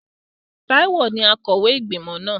Táíwò ní akọ̀wé ìgbìmọ̀ náà